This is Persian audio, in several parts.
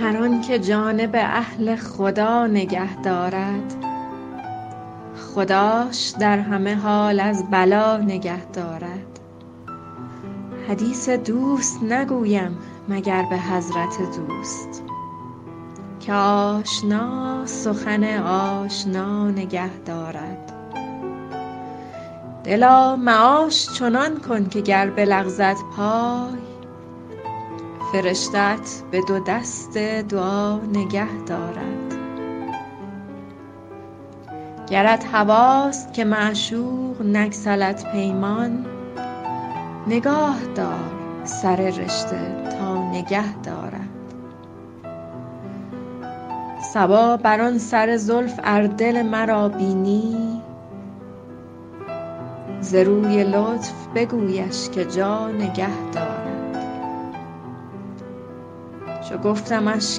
هر آن که جانب اهل خدا نگه دارد خداش در همه حال از بلا نگه دارد حدیث دوست نگویم مگر به حضرت دوست که آشنا سخن آشنا نگه دارد دلا معاش چنان کن که گر بلغزد پای فرشته ات به دو دست دعا نگه دارد گرت هواست که معشوق نگسلد پیمان نگاه دار سر رشته تا نگه دارد صبا بر آن سر زلف ار دل مرا بینی ز روی لطف بگویش که جا نگه دارد چو گفتمش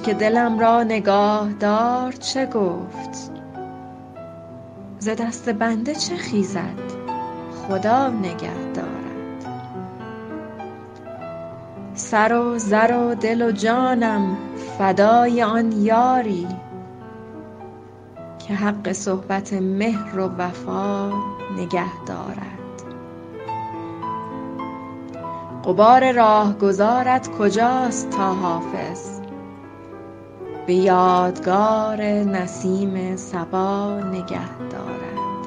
که دلم را نگاه دار چه گفت ز دست بنده چه خیزد خدا نگه دارد سر و زر و دل و جانم فدای آن یاری که حق صحبت مهر و وفا نگه دارد غبار راهگذارت کجاست تا حافظ به یادگار نسیم صبا نگه دارد